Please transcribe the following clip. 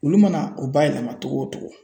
Olu mana o bayɛlɛma cogo o cogo